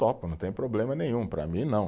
Topo, não tem problema nenhum, para mim não.